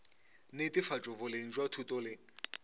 netefatšo boleng bja thuto le